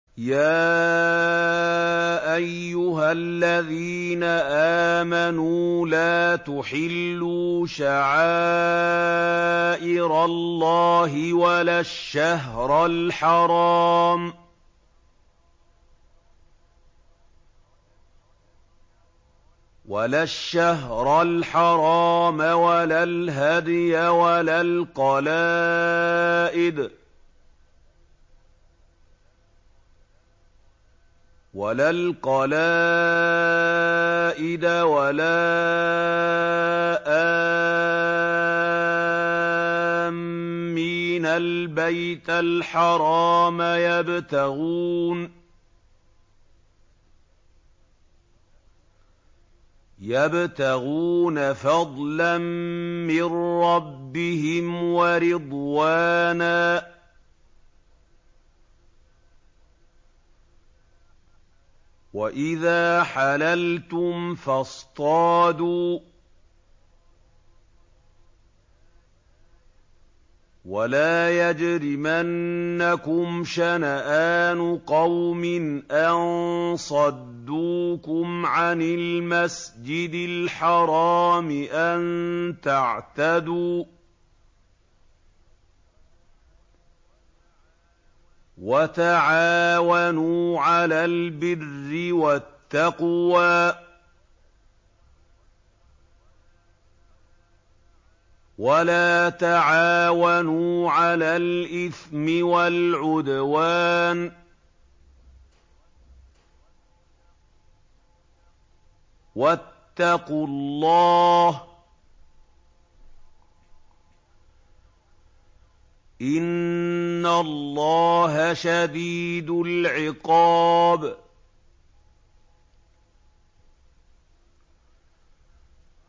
يَا أَيُّهَا الَّذِينَ آمَنُوا لَا تُحِلُّوا شَعَائِرَ اللَّهِ وَلَا الشَّهْرَ الْحَرَامَ وَلَا الْهَدْيَ وَلَا الْقَلَائِدَ وَلَا آمِّينَ الْبَيْتَ الْحَرَامَ يَبْتَغُونَ فَضْلًا مِّن رَّبِّهِمْ وَرِضْوَانًا ۚ وَإِذَا حَلَلْتُمْ فَاصْطَادُوا ۚ وَلَا يَجْرِمَنَّكُمْ شَنَآنُ قَوْمٍ أَن صَدُّوكُمْ عَنِ الْمَسْجِدِ الْحَرَامِ أَن تَعْتَدُوا ۘ وَتَعَاوَنُوا عَلَى الْبِرِّ وَالتَّقْوَىٰ ۖ وَلَا تَعَاوَنُوا عَلَى الْإِثْمِ وَالْعُدْوَانِ ۚ وَاتَّقُوا اللَّهَ ۖ إِنَّ اللَّهَ شَدِيدُ الْعِقَابِ